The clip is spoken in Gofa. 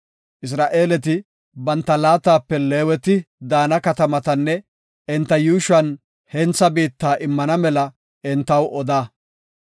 “Isra7eeleti banta laatape Leeweti daana katamatanne enta yuushuwan hentha biitta immana mela entaw oda.